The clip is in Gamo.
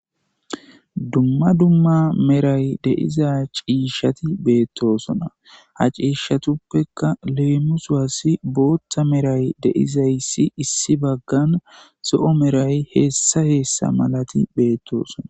Dumma dumma medhay de'izay ciishshati beettosona ha ciishatuppekka leemisowas booththa medhay de'izayssi issi baggan zo'o medhay hessa hessa malati beettosona.